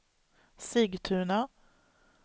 Sigtuna